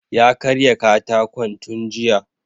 Ya karya katakon tun jiya